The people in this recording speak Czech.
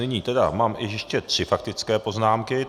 Nyní tedy mám ještě tři faktické poznámky.